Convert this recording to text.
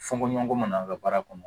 Fokɔɲɔgɔnkɔ mana kɛ baara kɔnɔ